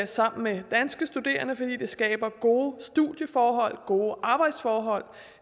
sammen med danske studerende fordi det skaber gode studieforhold og gode arbejdsforhold